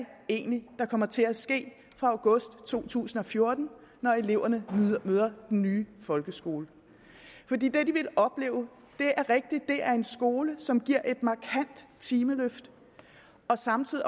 egentlig kommer til at ske fra august to tusind og fjorten når eleverne møder den nye folkeskole det de vil opleve er en skole som giver et markant timeløft og samtidig